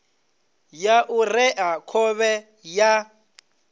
ya u rea khovhe ya